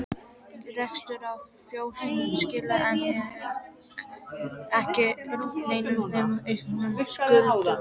Reksturinn á fjósinu skilaði enn ekki neinu nema auknum skuldum.